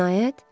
Cinayət?